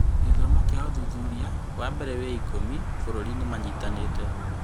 Gĩthomo kĩa ũthuthuria wambere wĩ ikũmi bũrũri-inĩ manyitanĩire